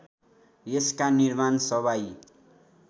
यसका निर्माण सवाई